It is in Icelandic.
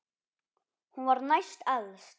Hún var næst elst.